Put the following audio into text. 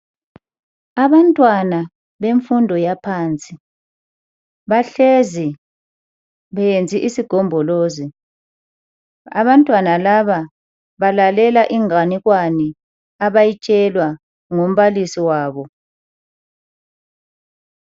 Abantwana bemfundo yaphansi bahlezi beyenze isigombolozi. Abantwana laba balalela inganekwane abayitshelwa ngumbalisi wabo.